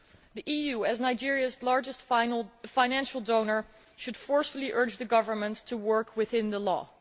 The EU, as Nigeria's largest financial donor, should forcefully urge the government to work within the law.